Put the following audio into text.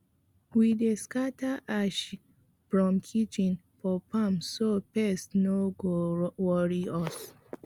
we dey scatter ash from kitchen for farm so pest no go worry us